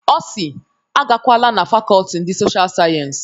Ọ si "Agakwala na Fakọlti ndị Sosha Sayensi.